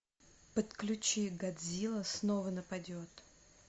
подключи годзилла снова нападет